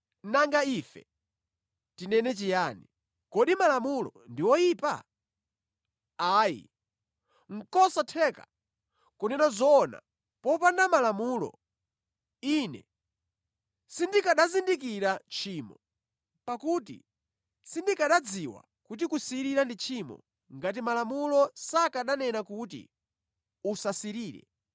Nanga ife tinene chiyani? Kodi Malamulo ndi oyipa? Ayi. Nʼkosatheka! Kunena zoona, popanda Malamulo, ine sindikanazindikira tchimo. Pakuti sindikanadziwa kuti kusirira ndi tchimo ngati Malamulo sakananena kuti, “Usasirire.”